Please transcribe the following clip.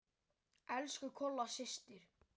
Elsku Kolla systir.